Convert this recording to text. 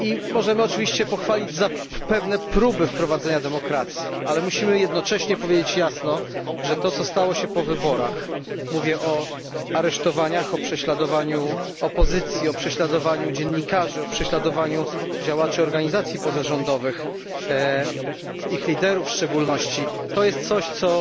Możemy pochwalić za pewne próby wprowadzenia demokracji, ale musimy jednocześnie powiedzieć jasno, że to co stało się po wyborach mówię o aresztowaniach, o prześladowaniu opozycji, o prześladowaniu dziennikarzy, o prześladowaniu działaczy organizacji pozarządowych, ich liderów w szczególności to jest coś, co